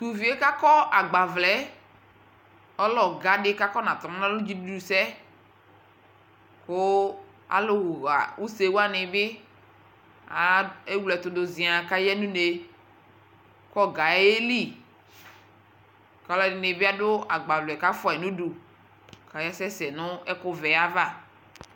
Tʋ ʋviɛ kʋ akɔ agbavlɛ ɛ ɔlɛ ɔga di kʋ akɔnatɔ nalɔ nʋ dzidudu sɛ kʋ alʋ ɣa use wani bi ewle ɛtʋ dʋ ziaŋ kʋ aya nʋ ne kʋ ɔga yɛ yɛli, kʋ alʋ ɛdini bi adʋ agbavlɛ kʋ afua yi nʋ du kʋ asɛsɛ nʋ ɛkʋ vɛ yɛ ava